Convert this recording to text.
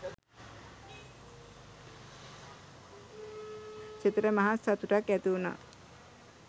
සිතට මහත් සතුටක් ඇති වුනා.